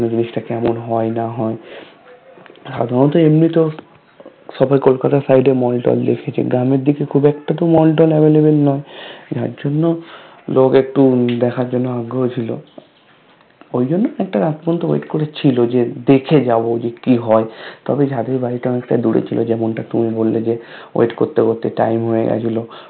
লোক একটু দেখার জন্য আগ্রহ ছিল ওই জন্য একটু রাত পর্যন্ত অপেক্ষা করে ছিল যে দেখে যাব যে কি হয় তবে যাদের বাড়ি টা অনেকটা দূরে ছিল যেমনটা তুমি বললে যে Wait করতে করতে Time হয়ে গেছিল